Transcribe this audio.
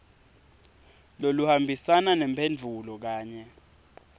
loluhambisana nemphendvulo kanye